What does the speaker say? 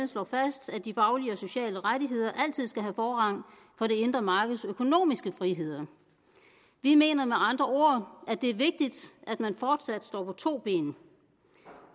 slå fast at de faglige og sociale rettigheder altid skal have forrang for det indre markeds økonomiske friheder vi mener med andre ord at det er vigtigt at man fortsat står på to ben